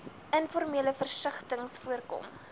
informele vestigings voorkom